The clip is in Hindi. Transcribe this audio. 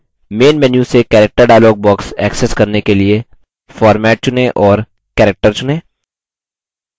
main menu से character dialog box access करने के लिए format चुनें और character चुनें